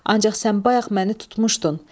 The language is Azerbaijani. Ancaq sən bayaq məni tutmuşdun.